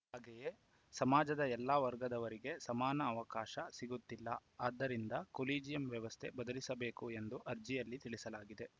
ಹಾಗೆಯೇ ಸಮಾಜದ ಎಲ್ಲಾ ವರ್ಗದವರಿಗೆ ಸಮಾನ ಅವಕಾಶ ಸಿಗುತ್ತಿಲ್ಲ ಆದ್ದರಿಂದ ಕೊಲಿಜಿಯಂ ವ್ಯವಸ್ಥೆ ಬದಲಿಸಬೇಕು ಎಂದು ಅರ್ಜಿಯಲ್ಲಿ ತಿಳಿಸಲಾಗಿದೆ